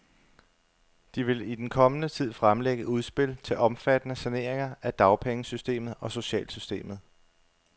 De vil i den kommende tid fremlægge udspil til omfattende saneringer af dagpengesystemet og socialsystemet.